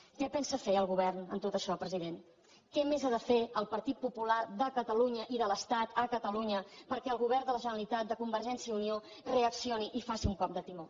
què pensa fer el govern amb tot això president què més ha de fer el partit popular de catalunya i de l’estat a catalunya perquè el govern de la generalitat de convergència i unió reaccioni i faci un cop de timó